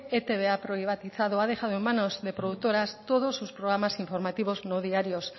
e i te be ha privatizado o ha dejado en manos de productoras todos sus programas informativos no diarios